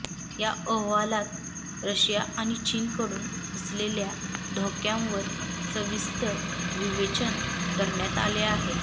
या अहवालात रशिया आणि चीनकडून असलेल्या धोक्यांवर सविस्तर विवेचन करण्यात आले आहे